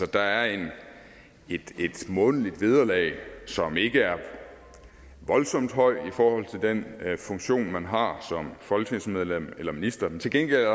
der er et månedligt vederlag som ikke er voldsomt højt i forhold til den funktion man har som folketingsmedlem eller minister men til gengæld er